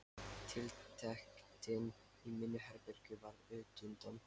Tiltektin í mínu herbergi varð útundan.